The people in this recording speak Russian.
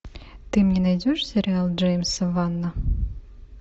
ты мне найдешь сериал джеймса вана